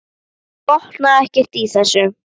Hún botnaði ekkert í þessu.